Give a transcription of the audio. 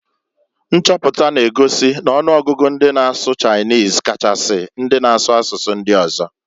Nchoputa na- egosi n'ọnụgụgụ ndị na-asụ Chinese Kachasi, ndị na-asụ asụsụ ndị ọzọ.